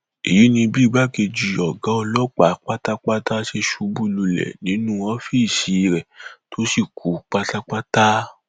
èyí ni bí igbákejì ọgá ọlọpàá pátápátá ṣe ṣubú lulẹ nínú ọfíìsì rẹ tó sì kú pátápátá